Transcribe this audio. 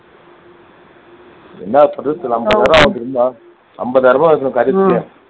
ஐம்பதாயிரம் ஐம்பதாயிரம் ரூபாய்